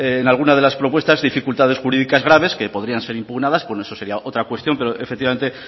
en algunas de las propuestas dificultades jurídicas graves que podrían ser impugnadas pues eso sería otra cuestión pero efectivamente